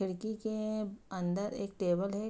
खिड़की के अंदर एक टेबल है।